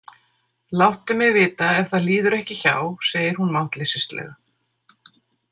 Láttu mig vita ef það líður ekki hjá, segir hún máttleysislega.